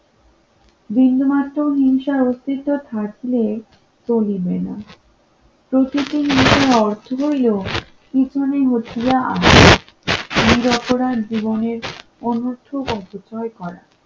বিন্দুমাত্র হিংসার অস্তিত্ব থাকলে তো নিবে না প্রতিদিন অর্থ হলো পিছনে অনূর্ধ্ব-পত্র করা